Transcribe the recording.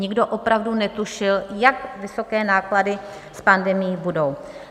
Nikdo opravdu netušil, jak vysoké náklady s pandemií budou.